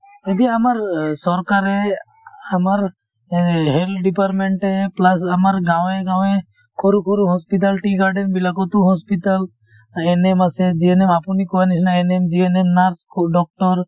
এতিয়া আমাৰ চৰকাৰে আমাৰ health department এ plus আমাৰ গাঁৱে গাঁৱে সৰু সৰু hospital , tea garden বিলাকতো hospital NMInitial আছে GNMInitial আপুনি কোৱাৰ নিছিনা NMInitial , GNMInitial , nurse doctor